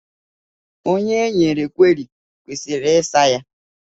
Onye e nyere kweri kwesịrị ịsa ya.